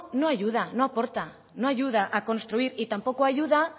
no ayuda no aporta no ayuda a construir y tampoco ayuda